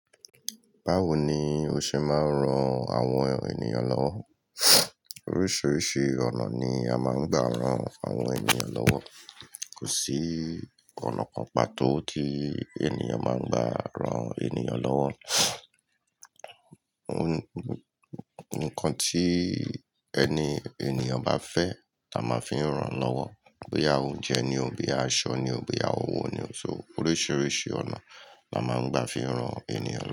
Báwo ni o ṣe máa ń ran àwọn ènìyàn lọ́wọ́? Oríṣiríṣi ọ̀nà ni a máa ń gbà ran àwọn ènìyàn lọ́wọ́. Kò sí ọ̀nà kan pàtó tí ènìyàn máa ń gbà ran ènìyàn lọ́wọ́. Ò ń kàn tí ẹni ènìyàn bá fẹ́ la máa ń fi ń ran lọ́wọ́. Bíi awon oúnjẹ ni o, bíi aṣọ ni o, bíi owó ni o. So oríṣiríṣi ọ̀nà la máa ń gbà fi ń ran ènìyàn lọ́wọ́